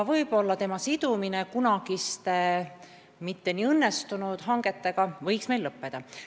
Selle sidumine kunagiste mitte kuigi õnnestunud hangetega võiks lõppeda.